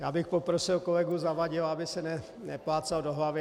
Já bych poprosil kolegu Zavadila, aby se neplácal do hlavy.